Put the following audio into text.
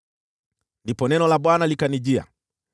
Ndipo neno la Bwana likanijia: